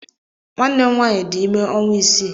Nwanne m nwaanyị di ime ọnwa isii.